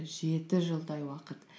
жеті жылдай уақыт